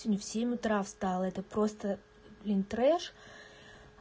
сегодня в семь утра встала это просто блин трэш